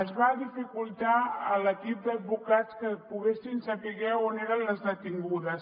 es va dificultar a l’equip d’advocats que poguessin saber on eren les detingudes